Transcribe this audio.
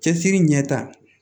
Cɛsiri ɲɛ ta